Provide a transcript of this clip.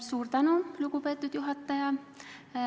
Suur tänu, lugupeetud juhataja!